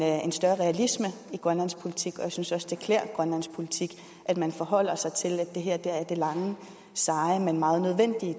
større realisme i grønlandsk politik og jeg synes også det klæder grønlandsk politik at man forholder sig til at det her er det lange og seje men meget nødvendige